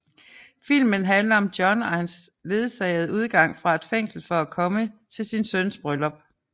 Filmen handler om John og hans ledsagede udgang fra et fængsel for at komme til sin søns bryllup